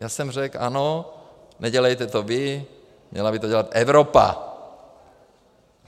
Já jsem řekl ano, nedělejte to vy, měla by to dělat Evropa.